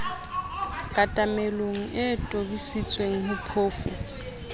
katamelo e tobisitsweng ho phofu